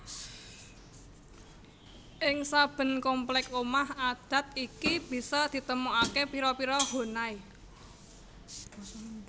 Ing saben komplek omah adat iki bisa ditemokaké pira pira Honai